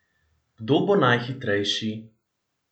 Kdo bo najhitrejši?